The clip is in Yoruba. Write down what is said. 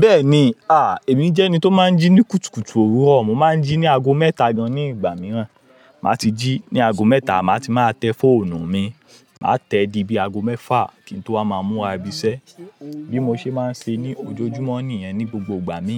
Bẹ́ẹ̀ni, à, èmi jẹ́ ẹni tó máa ń jí ní kùtùkùtù òwúrọ̀. Mo máa ń jí ní aago mẹ́ta gan ní ìgbà mìíràn. Màá ti jí ní aago mẹ́ta, màá ti máa tẹ fóònù mi. Màá tẹ dí bí i aago mẹ́fa kí n tó wá máa múra ibi iṣẹ́. Bí mo ṣe máa ń ṣe ní ojojúmọ́ nìyẹn ní gbogbo ìgbà mí.